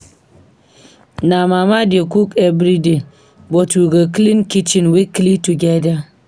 My mama dey cook every day, but we go clean kitchen weekly together.